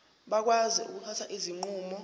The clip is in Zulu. bakwazi ukuthatha izinqumo